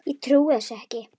Ég trúi þessu ekki!